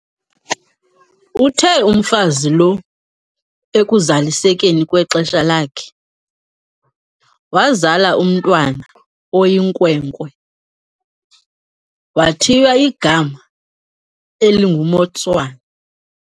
Uthe umfazi lo ekuzalisekeni kwexesha lakhe, wazala umntwana oyinkwenkwe, wathiywa igama elinguMotshwane.